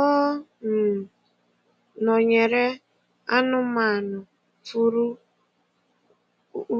Ọ um nọ̀nyerè anụ́manụ fùurù